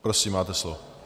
Prosím, máte slovo.